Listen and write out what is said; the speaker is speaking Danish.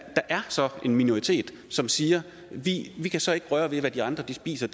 er en minoritet som siger vi kan så ikke røre ved hvad de andre spiser